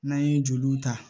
N'an ye joliw ta